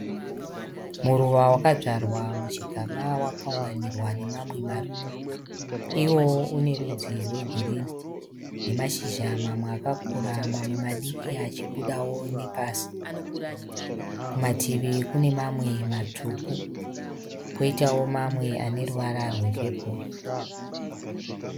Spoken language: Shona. Muruva wakadzvarwa muchigaba wakaunganirwa nemamwe maruva, iwowo unerudzi rwegirini nemashizha mamwe akakura mamwe madiki achibudawo nepasi. Kumativi kune mamwe matsvuku, poitawo mamwe aneruvara rwepeporo.